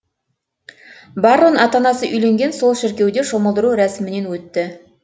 баррон ата анасы үйленген сол шіркеуде шомылдыру рәсімінен өтті